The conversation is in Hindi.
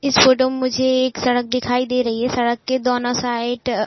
इस फोटो में मुझे एक सड़क दिखाई दे रही है। सड़क के दोनों साइड --